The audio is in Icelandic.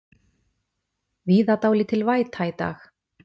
Víða dálítil væta í dag